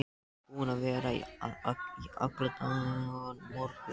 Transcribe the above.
Búin að vera að í allan morgun.